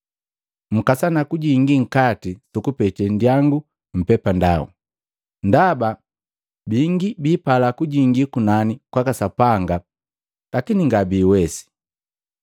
“Mkasana kujingi nkati su kupete nndiyangu mpepandau, ndaba bingi biipala kujingi kunani kwaka Sapanga lakini ngabiwesi.